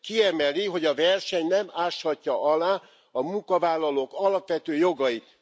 Kiemeli, hogy a verseny nem áshatja alá a munkavállalók alapvető jogait.